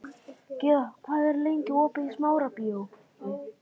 Gyða, hvað er lengi opið í Smárabíói?